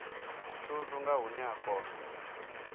thundu nga hune a kona